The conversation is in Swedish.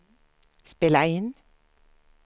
spela in